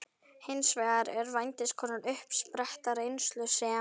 Hins vegar er vændiskonan uppspretta reynslu sem